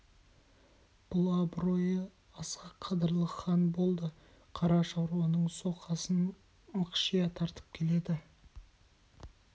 бұл абыройы асқақ қадырлы хан болды қара шаруаның соқасын мықшия тартып келеді